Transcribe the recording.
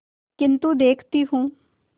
किन्तु देखती हूँ